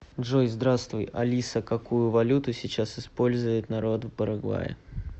джой здравствуй алиса какую валюту сейчас использует народ в парагвае